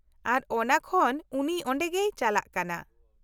ᱟᱨ ᱚᱱᱟ ᱠᱷᱚᱱ ᱩᱱᱤ ᱚᱸᱰᱮ ᱜᱮᱭ ᱪᱟᱞᱟᱜ ᱠᱟᱱᱟ ᱾